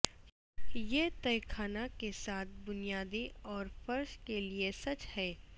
یہ تہہ خانہ کے ساتھ بنیادیں اور فرش کے لئے سچ ہے